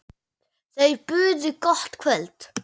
Þau buðu gott kvöld.